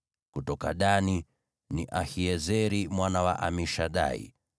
kutoka Dani, ni Ahiezeri mwana wa Amishadai;